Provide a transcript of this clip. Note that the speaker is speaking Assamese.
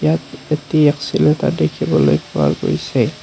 ইয়াত এটি একচিলেটৰ দেখিবলৈ পোৱা গৈছে।